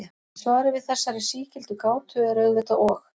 Svarið við þessari sígildu gátu er auðvitað og.